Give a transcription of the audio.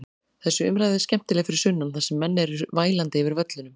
Þessi umræða er skemmtileg fyrir sunnan þar sem menn eru vælandi yfir völlunum.